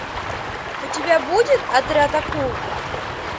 у тебя будет отряд акул